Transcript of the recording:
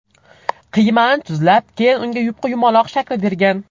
Qiymani tuzlab, keyin unga yupqa yumaloq shakl bergan.